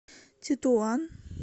тетуан